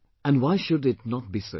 And why should it not be so